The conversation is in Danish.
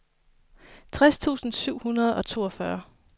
tres tusind syv hundrede og toogfyrre